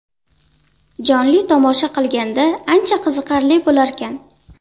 Jonli tomosha qilganda ancha qiziqarli bo‘larkan.